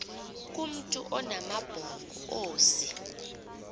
kumntu onamabhongo ozee